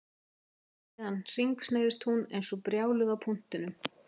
Síðan hringsnerist hún eins og brjáluð á punktinum